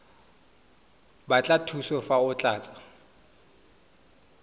batla thuso fa o tlatsa